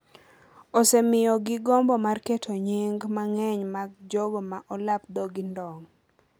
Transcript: osemiyogi gombo mar keto nying’ mang’eny mar jogo ma olap dhog-gi ndong'